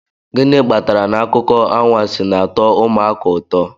gịnị kpatara na akụkọ anwansi na-atọ ụmụaka ụtọ